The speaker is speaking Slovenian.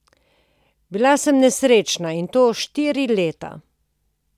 Bila sem nesrečna in to štiri leta!